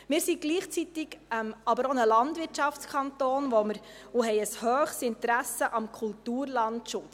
Wir sind gleichzeitig aber auch ein Landwirtschaftskanton und haben ein hohes Interesse am Kulturlandschutz.